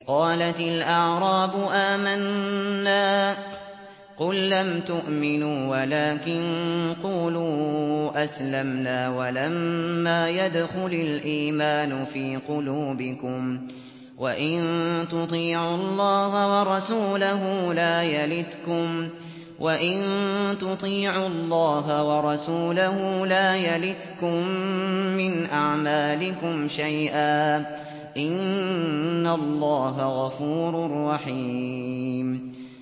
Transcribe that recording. ۞ قَالَتِ الْأَعْرَابُ آمَنَّا ۖ قُل لَّمْ تُؤْمِنُوا وَلَٰكِن قُولُوا أَسْلَمْنَا وَلَمَّا يَدْخُلِ الْإِيمَانُ فِي قُلُوبِكُمْ ۖ وَإِن تُطِيعُوا اللَّهَ وَرَسُولَهُ لَا يَلِتْكُم مِّنْ أَعْمَالِكُمْ شَيْئًا ۚ إِنَّ اللَّهَ غَفُورٌ رَّحِيمٌ